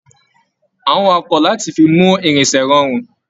A n wà ọkọ láti fí mú irinṣẹ rọrun.